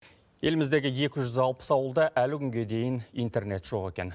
еліміздегі екі жүз алпыс ауылда әлі күнге дейін интернет жоқ екен